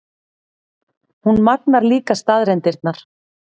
Hún magnar líka staðreyndirnar.